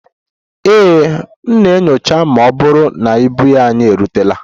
Ee, m na-enyocha ma ọ bụrụ na ibu anyị erutela